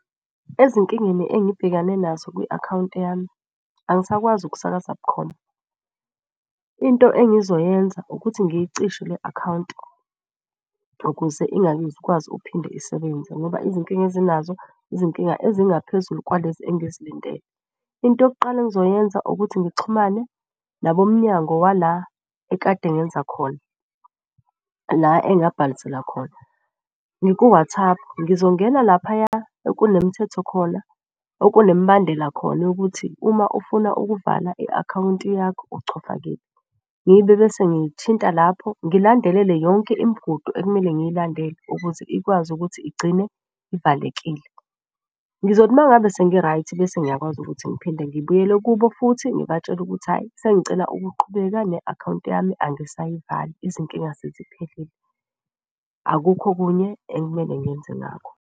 Ezinkingeni engibhekane nazo kwi-akhawunti yami angisakwazi okusakaza bukhoma. Into engizoyenza ukuthi ngiyicishe le akhawunti ukuze ukuphinde isebenze ngoba izinkinga ezinazo izinkinga ezingaphezulu kwalezi engizilindele. Into yokuqala engizoyenza ukuthi ngixhumane nabomnyango wala ekade ngenza khona la engabhalisela khona. Ngiku-WhatsApp, ngizongena laphaya ekunemithetho khona, okunemibandela khona yokuthi uma ufuna ukuvala i-akhawunti yakho ochofa kephi. Ngibe bese ngithinta lapho ngilandelele yonke imigudu ekumele ngiyilandele ukuze ikwazi ukuthi igcine ivalekile. Ngizothi uma ngabe sengi-right bese ngiyakwazi ukuthi ngiphinde ngibuyele ukubo futhi ngibatshele ukuthi hhayi sengicela ukuqhubeka ne-akhawunti yami angisayivali izinkinga seziphelile. Akukho okunye ekumele ngenze ngakho.